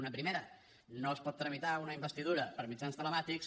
una primera no es pot tramitar una investidura per mitjans tele màtics